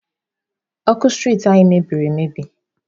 Ọkụ street anyị meberi emebi.